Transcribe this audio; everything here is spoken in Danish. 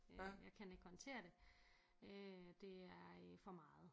Øh jeg kan ikke håndtere det øh det er øh for meget